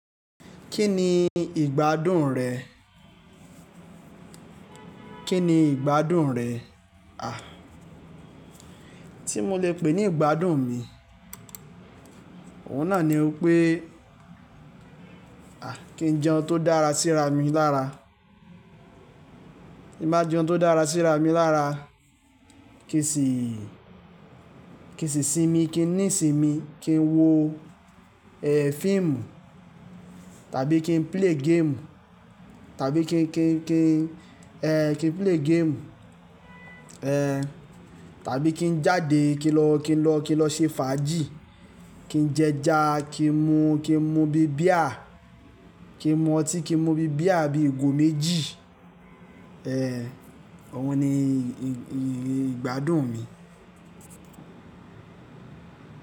Kí ni ìgbádùn rẹ̀? Kí ni ìgbádùn rẹ̀? À, tí mo lè pè ní ìgbádùn mi, òun náà ni ó pé à kí n jẹun tó dára síra mi lára. Kí má jẹun tó dára síra mi lára. Kì í sì, kì í sì sinmi, kí n ní sinmi, kí n wo ẹ film tàbí kí n play game tàbí kí n, kí n, kí n ẹ kí n play game ẹ. Ẹ tàbí kí n jáde kí n lọ, kí n lọ, kí n lọ ṣe fàájì, kí n jẹ ẹja, kí n mu, kí n mu bí beer, kí n mu ọtí, kí n mu bí beer bí ìgò méjì. Ẹ òun ni ìgbádùn mi.